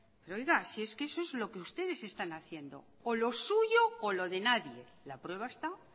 pero oiga si es que eso es lo que ustedes están haciendo o lo suyo o lo de nadie la prueba está